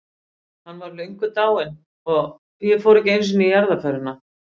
Hann var löngu dáinn- og ég fór ekki einu sinni í jarðarförina.